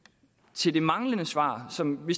til det manglende svar som vi